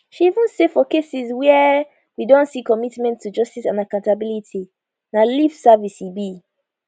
she say even for cases wia we don see commitment to justice and accountability na lip service e be